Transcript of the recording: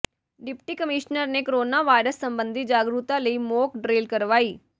deputy commissioner ਨੇ corona virus ਸਬੰਧੀ ਜਾਗਰੂਕਤਾ ਲਈ ਮੋਕ ਡਰਿੱਲ ਕਰਵਾਈ